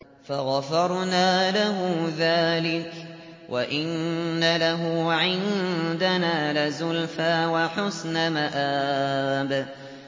فَغَفَرْنَا لَهُ ذَٰلِكَ ۖ وَإِنَّ لَهُ عِندَنَا لَزُلْفَىٰ وَحُسْنَ مَآبٍ